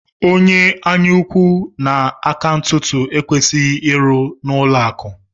Onye anyaukwu na aka ntụtụ ekwesịghị ịrụ n'ụlọakụ